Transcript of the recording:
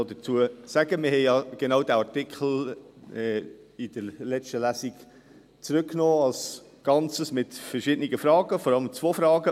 Wir haben ja genau diesen Artikel in der letzten Lesung als Ganzen zurückgenommen, mit verschiedenen Fragen, vor allem zwei Fragen: